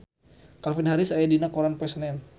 Calvin Harris aya dina koran poe Senen